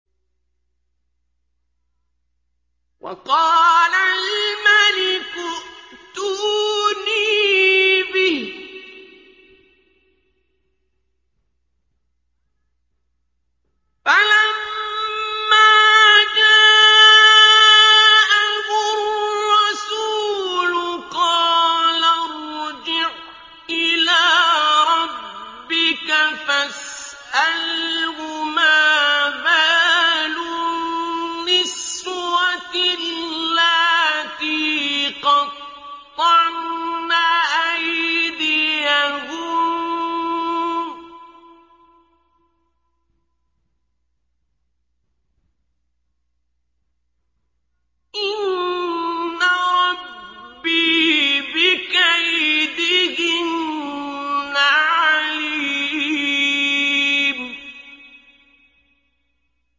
وَقَالَ الْمَلِكُ ائْتُونِي بِهِ ۖ فَلَمَّا جَاءَهُ الرَّسُولُ قَالَ ارْجِعْ إِلَىٰ رَبِّكَ فَاسْأَلْهُ مَا بَالُ النِّسْوَةِ اللَّاتِي قَطَّعْنَ أَيْدِيَهُنَّ ۚ إِنَّ رَبِّي بِكَيْدِهِنَّ عَلِيمٌ